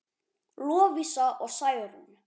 Lovísa og Særún.